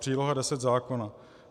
Příloha 10 zákona.